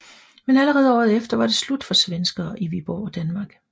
Men allerede året efter var det slut for svenskere i Viborg og Danmark